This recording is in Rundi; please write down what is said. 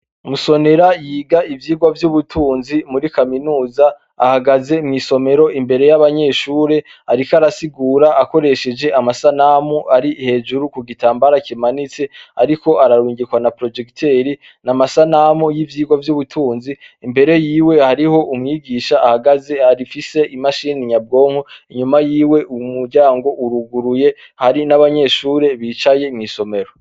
Musonera yiga ivyigwa vy'ubutunzi muri kaminuza ahagaze mw'isomero imbere y'abanyeshure ariko arasigura akoresheje amasanamu ari hejuru ku gitambara kimanitse ariko ararungikwa na porojegitere, n'amasanamu y'ivyigwa y'ubutunzi, imbere yiwe hariho umwigisha ahagaze afise imashini nyabwonko, inyuma yiwe umuryango uruguruye hari n'abanyeshure bicaye mw'isomero.